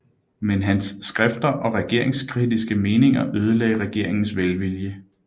Men hans skrifter og regeringskritiske meninger ødelagde regeringens velvilje